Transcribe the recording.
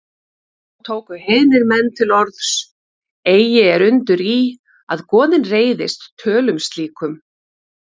Þá tóku heiðnir menn til orðs: Eigi er undur í, að goðin reiðist tölum slíkum